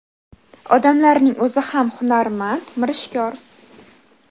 Odamlarning o‘zi ham hunarmand, mirishkor.